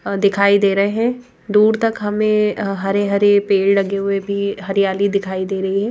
दिखाई दे रहे हैं दूर तक हमें हरे-हरे पेड़ लगे हुए भी हरियाली दिखाई दे रही है।